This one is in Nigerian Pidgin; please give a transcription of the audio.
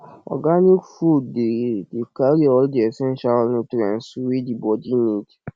organic food dey dey carry all di essential nutrients wey di body need